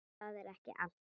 En það er ekki allt.